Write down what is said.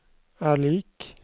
er lik